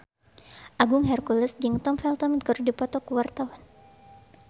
Agung Hercules jeung Tom Felton keur dipoto ku wartawan